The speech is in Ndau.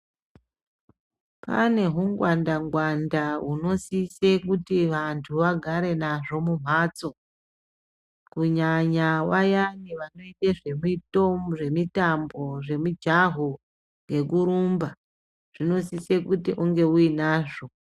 Kune zvingwanda ngwanda hunosisa kuti vantu vagare vanhaho kumbatso kunyanya vayani vanoita zvemitambo zvemijaho ngekurumba zvinosisa kunge uinazvo.